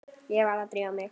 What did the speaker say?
Ég varð að drífa mig.